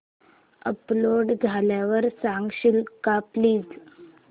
upload झाल्यावर सांगशील का प्लीज